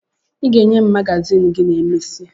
Ị ga-enye m magazin gị ma emesịa